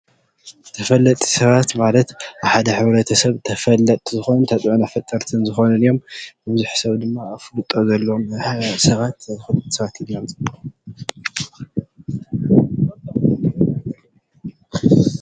ተፈለጥቲ ሰባት ማለት ኣብ ሓደ ሕ/ሰብ ተፈለጥቲ ዝኮኑ፣ ተፀዕኖ ፈጠርቲ እዮም። ብዙሕ ሰባት ድማ ኣፍልጦ ዘለዎም ሰባትን እዮም።